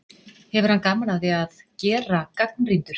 Hefur hann gaman af því að gera gagnrýndur?